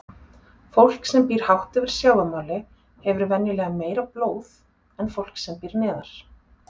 Fólk sem býr hátt yfir sjávarmáli hefur venjulega meira blóð en fólk sem býr neðar.